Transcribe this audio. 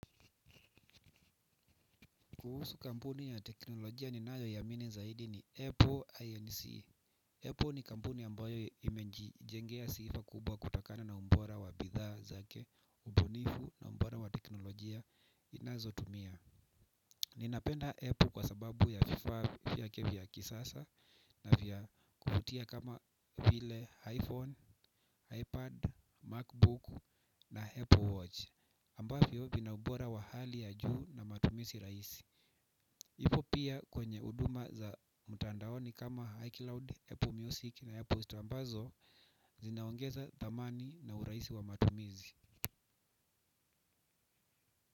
Kuhusu kampuni ya teknolojia ninayoiamini zaidi ni Apple INC. Apple ni kampuni ambayo imenjijengea sifa kubwa kutokana na ubora wa bidhaa zake. Ubunifu na ubora wa teknolojia inazotumia. Ninapenda Apple kwa sababu ya vifaa vyake vya kisasa na vya kuvutia kama vile iPhone, iPad, MacBook na Apple Watch Ambavyo vina ubora wa hali ya juu na matumizi rahisi. Ipo pia kwenye huduma za mtandaoni kama iCloud, Apple Music na Apple Store ambazo zinaongeza dhamani na urahisi wa matumizi.